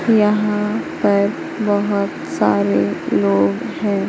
यहां पर बहोत सारे लोग है।